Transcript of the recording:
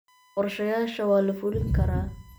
Qorshayaasha waa la fulin karaa.